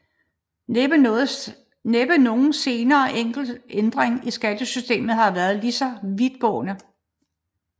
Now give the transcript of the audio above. Næppe nogen senere enkelt ændring i skattesystemet har været lige så vidtgående